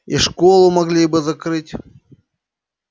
и школу могли бы закрыть